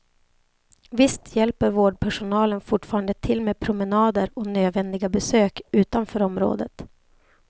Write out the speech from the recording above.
Visst hjälper vårdpersonalen fortfarande till med promenader och nödvändiga besök utanför området.